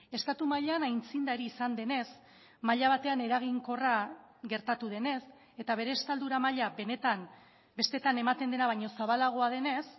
estatu mailan aitzindari izan denez maila batean eraginkorra gertatu denez eta bere estaldura maila benetan besteetan ematen dena baino zabalagoa denez